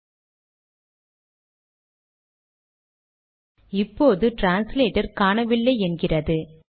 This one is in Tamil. சரி இப்போது டிரான்ஸ்லேட்டர் காணவில்லை என்கிறது